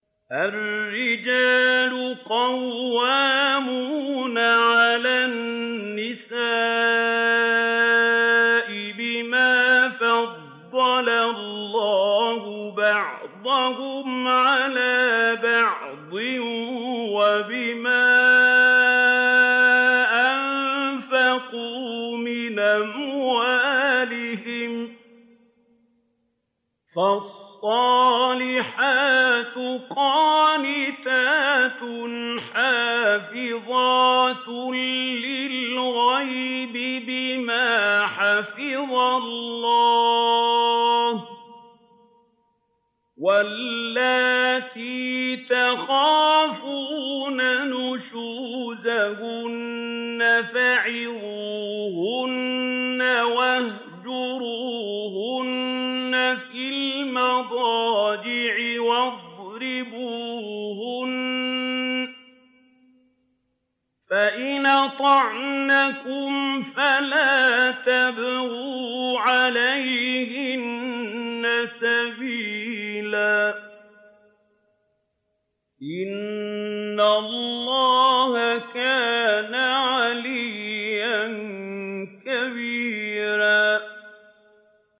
الرِّجَالُ قَوَّامُونَ عَلَى النِّسَاءِ بِمَا فَضَّلَ اللَّهُ بَعْضَهُمْ عَلَىٰ بَعْضٍ وَبِمَا أَنفَقُوا مِنْ أَمْوَالِهِمْ ۚ فَالصَّالِحَاتُ قَانِتَاتٌ حَافِظَاتٌ لِّلْغَيْبِ بِمَا حَفِظَ اللَّهُ ۚ وَاللَّاتِي تَخَافُونَ نُشُوزَهُنَّ فَعِظُوهُنَّ وَاهْجُرُوهُنَّ فِي الْمَضَاجِعِ وَاضْرِبُوهُنَّ ۖ فَإِنْ أَطَعْنَكُمْ فَلَا تَبْغُوا عَلَيْهِنَّ سَبِيلًا ۗ إِنَّ اللَّهَ كَانَ عَلِيًّا كَبِيرًا